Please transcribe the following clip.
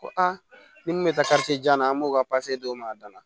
Ko a ni mun bɛ taa jan na an b'o ka d'o ma a dan